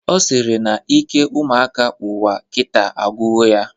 Ọ sịrị na ike ụmụaka ụwa kita agwugo ya